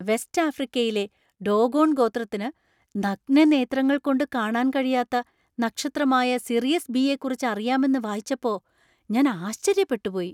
West ആഫ്രിക്കയിലെ Dogon ഗോത്രത്തിന് നഗ്നനേത്രങ്ങൾ കൊണ്ട് കാണാൻ കഴിയാത്ത നക്ഷത്രമായ സിറിയസ് ബി യെക്കുറിച്ച് അറിയാമെന്ന് വായിച്ചപ്പോ ഞാൻ ആശ്ചര്യപ്പെട്ടു പോയി.